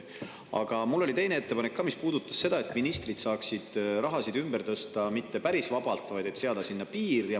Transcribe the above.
Aga mul oli teine ettepanek ka, nimelt see, et ministrid ei peaks saama raha ümber tõsta päris vabalt, vaid sellele tuleks seada piir.